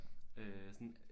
Øh sådan